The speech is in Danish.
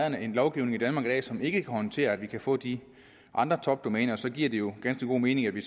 er en lovgivning i danmark i dag som ikke kan håndtere at vi kan få de andre topdomæner så giver det jo ganske god mening at vi